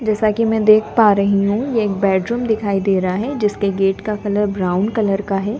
जैसा कि मैं देख पा रही हूं ये एक बेडरूम दिखाई दे रहा है जिसके गेट का कलर ब्राउन कलर का है।